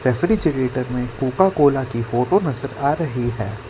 Refrigerator में Coca Cola की photo नजर आ रही है।